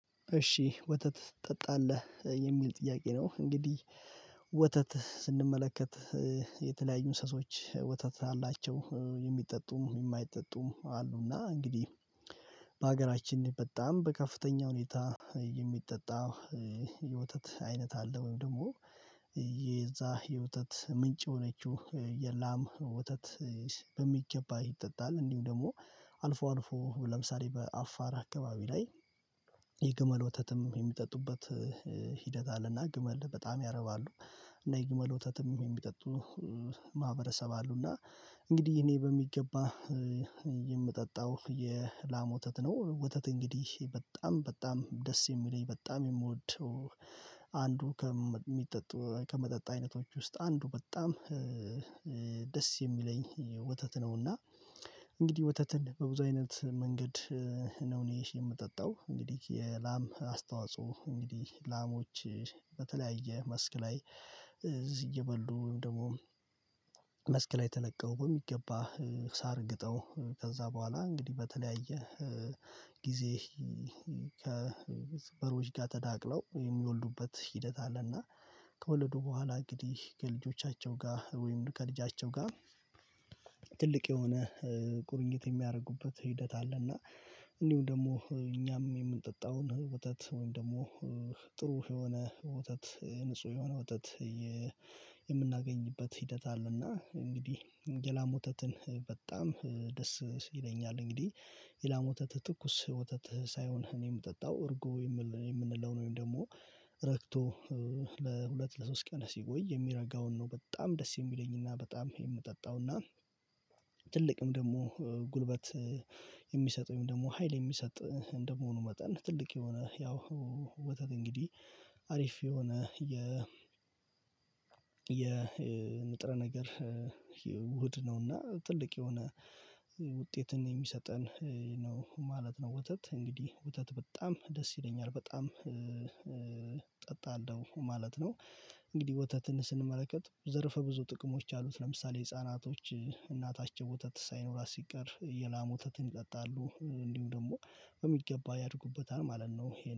እሺ ወተት ትጠጣለህ የሚል ጥያቄ ነው? እንግዲህ ወተት ስንመለከት የተለያዩ እንስሶች ወተት አላቸው የሚጠጡም የማይጠጡም አሉና እንግዲህ በጣም በከፍተኛ ሁኔታ የሚጠጣ የወተት አይነት አለ ወይም ደግሞ የዛ የውተት ምንጭ የሆነችው የላም ወተት። በሚገባ ይጠጣል እንዲሁ ደግሞ አልፎ አልፎ ለምሳሌ በአፋር አካባቢ ላይ የግመል ወተትም የሚጠጡበት ሂደት አለና ግመል በጣም ያረባሉ እና የግመል ወተትም የሚጠጡ ማህበረሰብ አሉና። እንግዲህ እኔ በሚገባ የምጠጣው የላም ወተት ነው። ወተት እንግዲህ በጣም በጣም ደስ የሚለኝ በጣም የምወደው አንዱ ከሚጠጡ ከመጠጥ አይነቶች ውስጥ አንዱ በጣም ደስ የሚለኝ ወተት ነውና። እንግዲህ ወተትን በብዙ አይነት መንገድ ነው እኔ የምጠጣው እንግዲህ የላም አስተዋጽኦ እንግዲህ ላሞች በተለያየ መስክ ላይ እዚህ እየበሉ ወይም ደግሞ መስክ ላይ ተለቀው በሚገባ ሳርግጠው ከዛ በኋላ እንግዲህ በተለያየ ጊዜ ከበሮች ጋር ተዳቅለው የሚወልዱበት ሂደት አለና። ከወለዱ በኋላ እንግዲህ ከልጆቻቸው ጋር ወይም ከልጃቸው ጋር ትልቅ የሆነ ቁርኝት የሚያደርጉበት ሂደት አለ። እና እንዲሁም ደግሞ እኛም የምንጠጣውን ወተት ወይም ደግሞ ጥሩ የሆነ ወተት ንጹህ የሆነ ወተት የምናገኝበት ሂደት አለ። እና እንግዲህ የላም ወተትን በጣም ደስ ይለኛል። እንግዲህ የላም ወተት ትኩስ ወተት ሳይሆን እኔ የምጠጣው እርጎ የምንለውን ወይም ደግሞ ረግቶ ለሁለት ለሶስት ቀን ሲቆይ የሚረጋውን ነው። በጣም ደስ የሚለኝና በጣም የምጠጣውና ትልቅም ደግሞ ጉልበት የሚሰጠኝም ደግሞ ሀይል የሚሰጥ እንደመሆኑ መጠን ትልቅ የሆነ ያው ወተት እንግዲህ አሪፍ የሆነ የ የንጥረ ነገር ውድ ነውና። ትልቅ የሆነ ውጤትን የሚሰጠን ነው ማለት ነው። ውተት እንግዲህ ወተት በጣም ደስ ይለኛል በጣም እጠጣለሁ ማለት ነው። እንግዲህ ወተትን ስንመለከት ዘርፈ ብዙ ጥቅሞች አሉት። ለምሳሌ ህፃናቶች እናታቸው ወተት ሳይኖራት ሲቀር የላም ወተትን ይጠጣሉ እንዲሁም ደግሞ በሚገባ ያድጉበታል ማለት ነው።